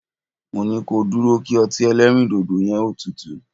Mo ní ko dúró kí ọtí ẹlẹ́rìndòdò yẹ́n ó tutù!